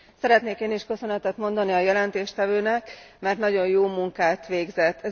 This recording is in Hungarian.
Szeretnék én is köszönetet mondani a jelentéstevőnek, mert nagyon jó munkát végzett.